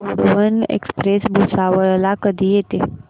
Gondwana express Bhusawal ला कधी येते